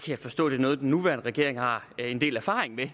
jeg forstå er noget den nuværende regering har en del erfaring med